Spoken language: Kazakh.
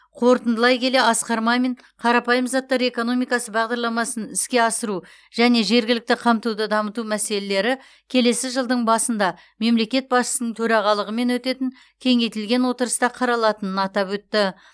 қорытындылай келе асқар мамин қарапайым заттар экономикасы бағдарламасын іске асыру және жергілікті қамтуды дамыту мәселелері келесі жылдың басында мемлекет басшысының төрағалығымен өтетін кеңейтілген отырыста қаралатынын атап өтті